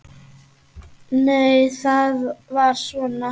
Nei, það var svona!